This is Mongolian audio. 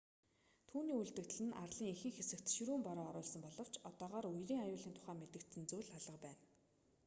түүний үлдэгдэл нь арлын ихэнх хэсэгт ширүүн бороо оруулсан боловч одоогоор үерийн аюулын тухай мэдэгдсэн зүйл алга байна